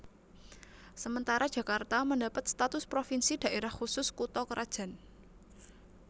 Sementara Jakarta mendapat status provinsi Daerah Khusus Kutha krajan